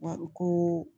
Wa u ko